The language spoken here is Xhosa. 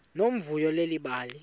nomvuyo leli bali